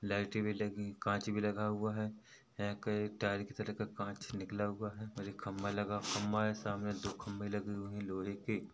लाइटे भी लगी कांच भी लगा हुआ है एक टायर की तरफ का कांच निकला हुआ है और एक खम्भा लगा खम्भा है सामने दो खम्भे लगे हुए है लोहे के।